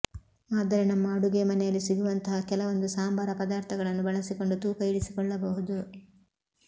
ಆದರೆ ನಮ್ಮ ಅಡುಗೆ ಮನೆಯಲ್ಲಿ ಸಿಗುವಂತಹ ಕೆಲವೊಂದು ಸಾಂಬಾರ ಪದಾರ್ಥಗಳನ್ನು ಬಳಸಿಕೊಂಡು ತೂಕ ಇಳಿಸಿಕೊಳ್ಳಬಹುದು